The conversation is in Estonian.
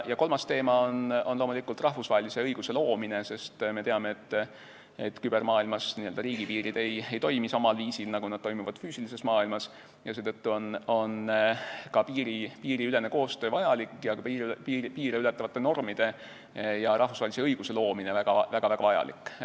Kolmas teema on loomulikult rahvusvahelise õiguse loomine, sest me teame, et kübermaailmas ei toimi riigipiirid samal viisil, nagu nad toimivad füüsilises maailmas, ja seetõttu on ka piiriülene koostöö vajalik ning piire ületavate normide ja rahvusvahelise õiguse loomine väga-väga vajalik.